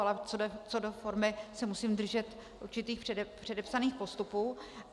Ale co do formy se musím držet určitých předepsaných postupů.